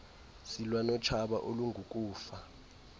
silwa notshaba olungukufa